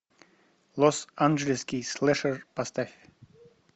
лос анджелесский слэшер поставь